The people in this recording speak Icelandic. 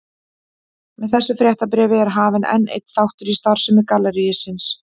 Með þessu fréttabréfi er hafinn enn einn þáttur í starfsemi gallerísins.